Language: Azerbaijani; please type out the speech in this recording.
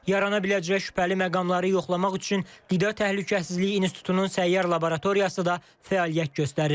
Yarana biləcək şübhəli məqamları yoxlamaq üçün Qida Təhlükəsizliyi İnstitutunun səyyar laboratoriyası da fəaliyyət göstərir.